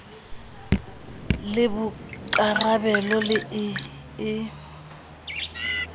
le bokarabelo le e e